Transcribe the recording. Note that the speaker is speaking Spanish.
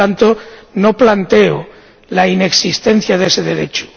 Por tanto, no planteo la inexistencia de ese derecho.